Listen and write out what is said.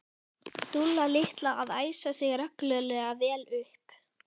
Dúlla litla að æsa sig reglulega vel upp.